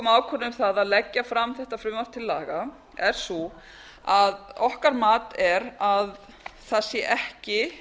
avköröunum það að leggja fram þetta frumvarp til laga er sú að okkur mat er að það ekki